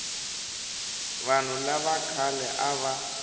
vanhu lava khale a va